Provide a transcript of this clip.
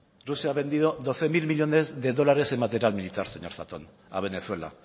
rusia ha vendido doce mil millónes de dólares en material militar señor zatón a venezuela